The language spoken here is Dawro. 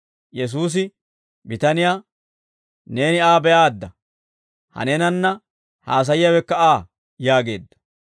Yesuusi bitaniyaa, «Neeni Aa be'aadda; ha neenanna haasayiyaawekka Aa» yaageedda.